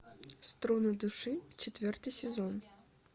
струны души четвертый сезон